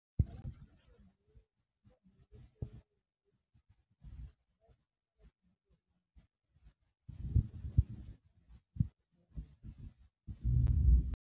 .